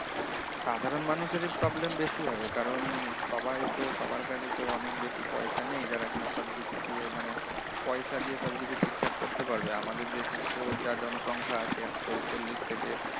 সাধারণ মানুষেরই problem বেশি হবে কারণ সবাই তো সবার কাছে তো অনেক বেশি পয়সা নেই যারা কিনা সবকিছু দিয়ে পয়সা দিয়ে সবকিছু ঠিকঠাক করতে পারবে আমাদের দেশে তো যা জনসংখ্যা এক শো চল্লিশ থেকে